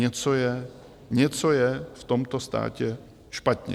Něco je, něco je v tomto státě špatně.